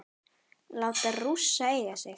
Láta Rússa eiga sig?